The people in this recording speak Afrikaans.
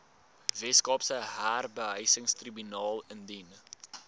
weskaapse huurbehuisingstribunaal indien